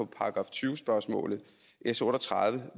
§ tyve spørgsmål s otte og tredive